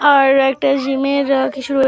আর একটা জিমের কিছু রয়ে --